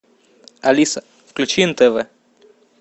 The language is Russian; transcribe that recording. алиса включи нтв